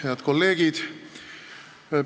Head kolleegid!